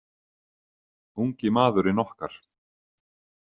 Ungi maðurinn okkar.